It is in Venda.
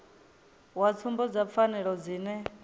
wa tsumbo dza pfanelo dzine